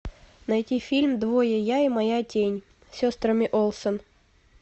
найти фильм двое я и моя тень с сестрами олсен